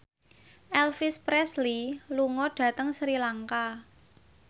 Elvis Presley lunga dhateng Sri Lanka